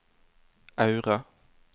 Aure